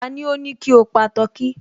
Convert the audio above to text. Tani ó ní kí o pa tọkí?